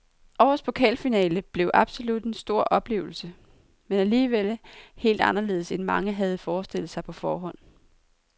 Årets pokalfinale blev absolut en stor oplevelse, men alligevel helt anderledes end mange havde forestillet sig på forhånd.